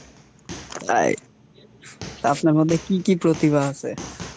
তাই? আপনার মধ্যে কী কী প্রতিভা আছে?